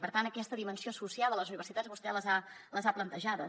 per tant aquestes dimensions associades a les universitats vostè les ha plantejades